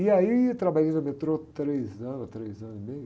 E aí eu trabalhei no metrô três anos, três anos e meio.